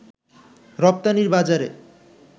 রপ্তানির বাজারে